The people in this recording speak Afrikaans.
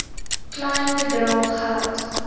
klein bedrae geld